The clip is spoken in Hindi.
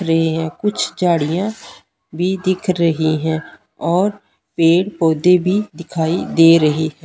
रही है कुछ झाड़ियां भी दिख रही हैं और पेड़ पौधे भी दिखाई दे रहे हैं।